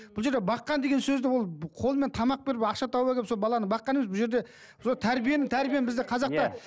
бұл жерде баққан деген сөзді ол қолымен тамақ беріп ақша тауып әкеліп сол баланы баққаны емес бұл жерде сол тәрибені тәрбиені біздің қазақта